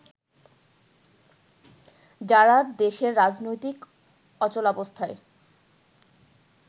যারা দেশের রাজনৈতিক অচলাবস্থায়